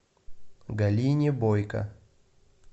галине бойко